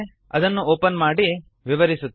ಅದನ್ನು ಒಪನ್ ಮಾಡಿ ವಿವರಿಸುತ್ತೇನೆ